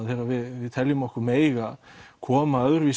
þegar við teljum okkur mega koma öðruvísi